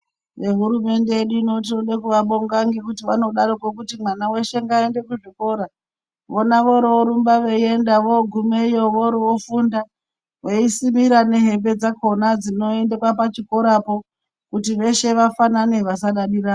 Nehurumende yedu tinoda kuvabonga ngekuti vanodaroko kuti mwana weshe aende kuzvikora vona vororumba veienda vogumeyo vofunda veisimira nehembe dzakona dzinoendwa pachikorapo kuti veshe vafanane vasadadirana.